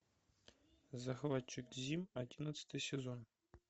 захватчик зим одиннадцатый сезон